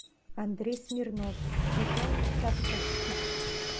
андрей смирнов пижон тарковский